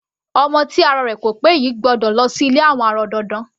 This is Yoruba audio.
Ọmọ tí ara rẹ̀ ko pé yìí gbọ́dọ̀ lọ sí ilé àwọn arọ dandan.